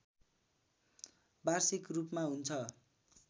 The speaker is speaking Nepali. वार्षिक रूपमा हुन्छ